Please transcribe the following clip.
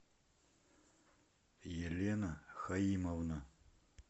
елена хаимовна